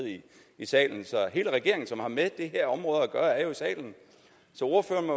i salen så hele regeringen som har med det her område at gøre er jo i salen så ordføreren